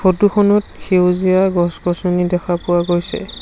Photo খনত সেউজীয়া গছ-গছনি দেখা পোৱা গৈছে।